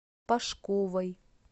пашковой